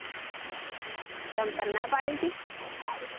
ચમ તન ના પડી તી